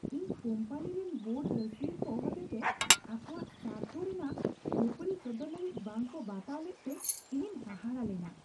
ᱤᱧ ᱠᱳᱢᱯᱟᱱᱤ ᱨᱮᱱ ᱵᱳᱨᱰ ᱨᱟᱹᱥᱤᱭᱟᱹ ᱠᱚ ᱦᱚᱛᱮᱛᱮ ᱟᱠᱚᱣᱟᱜ ᱥᱟᱨᱛᱷᱚ ᱨᱮᱱᱟᱜ ᱠᱷᱟᱹᱯᱟᱹᱨᱤ ᱥᱚᱫᱚᱨ ᱞᱟᱹᱜᱤᱫ ᱵᱟᱝᱠᱚ ᱵᱟᱛᱟᱣ ᱞᱮᱫᱛᱮ ᱤᱧᱤᱧ ᱦᱟᱦᱟᱲᱟᱜ ᱞᱮᱱᱟ ᱾